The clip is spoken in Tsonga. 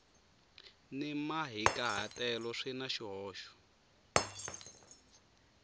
ni mahikahatelo swi na swihoxo